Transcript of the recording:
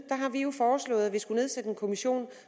har vi jo foreslået at vi skulle nedsætte en kommission